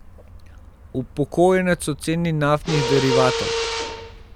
Upokojenec o ceni naftnih derivatov.